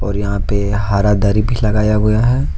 यहां पर हर धारी भी लगाया गया है।